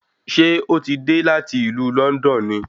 Ṣé ó ti dé láti ìlú Lọ́ndọ̀n ni